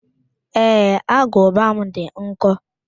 Ee, agụba m dị nkọ